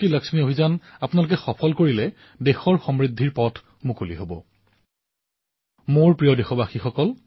কিছুদিন পূৰ্বে সুদূৰৰ অৰুণাচলৰ এক বিদ্যাৰ্থী অলীনা তায়ঙে মোলৈ এক আমোদজনক পত্ৰ প্ৰেৰণ কৰিছে